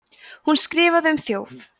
hún skrifar um þjófa